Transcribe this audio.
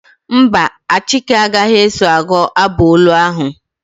Mba, Achike agaghị eso agụ abụ olu ahụ.